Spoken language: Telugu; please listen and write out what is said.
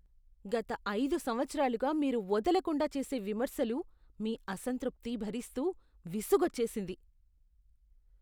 గత ఐదు సంవత్సరాలుగా మీరు వదలకుండా చేసే విమర్శలు, మీ అసంతృప్తి భరిస్తూ విసుగొచ్చేసింది.